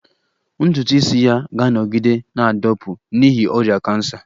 Ntutu isi ya ga-anọgide na-adapụ n'ihi ọrịa kansa